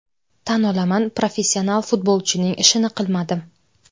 Tan olaman, professional futbolchining ishini qilmadim.